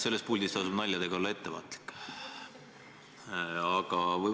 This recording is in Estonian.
Selles puldis tasub naljadega ettevaatlik olla.